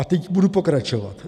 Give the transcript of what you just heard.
A teď budu pokračovat.